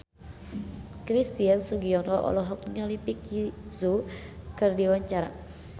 Christian Sugiono olohok ningali Vicki Zao keur diwawancara